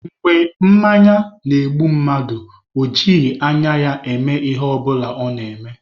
Mgbe mmanya na-egbu mmadụ, o jighị anya ya eme Ihe ọbụla ọ na-eme.